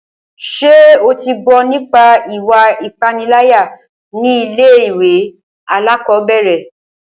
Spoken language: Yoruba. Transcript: Ṣé o tí gbọ́ nípa ìwà ipániláyà ní ilé ìwé alákọ̀berẹ̀?